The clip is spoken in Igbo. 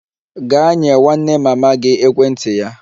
Gaa nye nwanne mama gị ekwentị ya!